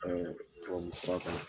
Ɛɛ tubabu fura